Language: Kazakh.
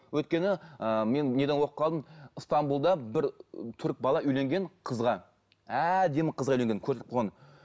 өйткені ыыы мен стамбулда бір түрік бала үйленген қызға әдемі қызға үйленген көрсетіп қойған